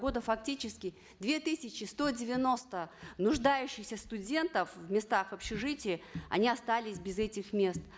года фактически две тысячи сто девяносто нуждающихся студентов в местах в общежитии они остались без этих мест